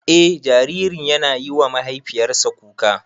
Eh jaririn yana yiwa mahaifiyarsa kuka.